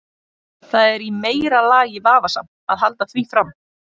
Það er í meira lagi vafasamt að halda því fram.